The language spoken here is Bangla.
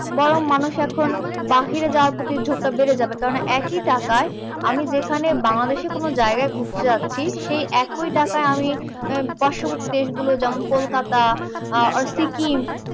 বরং মানুষ এখন বাহিরে যাবার প্রতি ঝোঁকটা বেড়ে যাবে। কারণএকই টাকায় আমি যেখানে বাংলাদেশে কোনও জায়গায় ঘুরতে যাচ্ছি, সেই একিই টাকায় আমি পার্শবর্তী দেশগুলো যেমন কলকাতা আর সিকিম